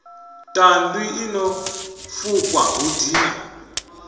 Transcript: tandwi ḽino fukwa hu dina